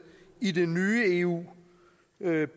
i det nye eu